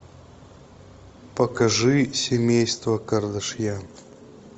покажи семейство кардашьян